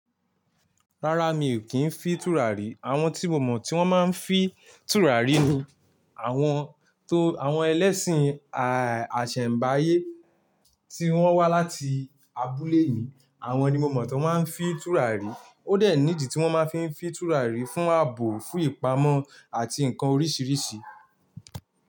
Rárá, mi ò kí ń fi tùràrí. Àwọn tí mo mọ̀ tí wọ́n máa ń fi tùràrí ni àwọn tó àwọn ẹlẹ́sìn àṣẹ̀mbáyé tí wọ́n wá láti abúlé mi. Àwọn ni mo mọ̀ tó máa ń fi tùràrí. Ó dẹ̀ ní ìdí tí wọ́n máa ń fi tùràrí fún àbò, fún ìpamọ́ àti ǹkan oríṣiríṣi.